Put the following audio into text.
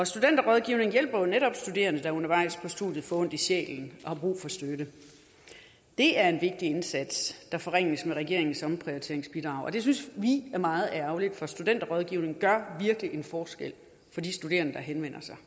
studenterrådgivningen hjælper jo netop studerende der undervejs i studiet får ondt i sjælen og har brug for støtte det er en vigtig indsats der forringes med regeringens omprioriteringsbidrag og det synes vi er meget ærgerligt for studenterrådgivningen gør virkelig en forskel for de studerende der henvender sig